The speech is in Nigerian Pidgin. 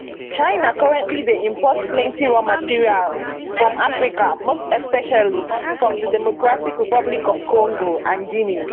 china currently dey import plenty raw materials from africa most especially from di democratic republic of congo and guinea